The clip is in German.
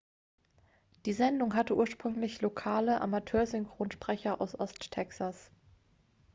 die sendung hatte ursprünglich lokale amateursynchronsprecher aus ost-texas